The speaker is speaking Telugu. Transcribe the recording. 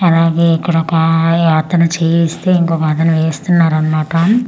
అలాగే ఇక్కడ ఒక అతను చేయిస్తే ఇంకొక్క అతను వేస్తున్నారు అన్నమాట .]